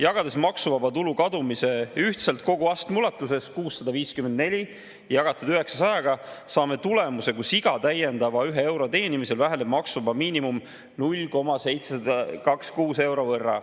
Jagades maksuvaba tulu kadumise ühtselt kogu astme ulatuses, 654 jagatud 900‑ga, saame tulemuse, kus iga täiendava ühe euro teenimisel väheneb maksuvaba miinimum 0,726 euro võrra.